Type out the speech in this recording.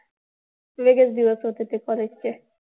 वेगळेच दिवस होते ते college चे.